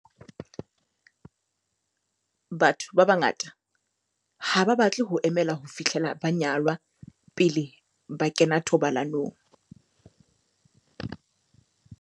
Batho ba bangata ha ba batle ho emela ho fihlela ba nyalwa pele ba kena thobalanong.